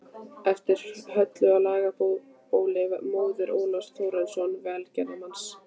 eftir Höllu á Laugabóli, móður Ólafs Þórðarsonar velgerðarmanns